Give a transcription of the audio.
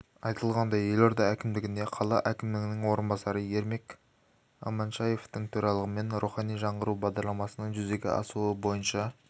айтылғандай елорда әкімдігінде қала әкімінің орынбасары ермек аманшаевтің төрағалығымен рухани жаңғыру бағдарламасының жүзеге асуы бойынша